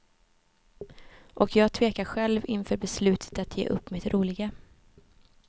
Och jag tvekar själv inför beslutet att ge upp mitt roliga.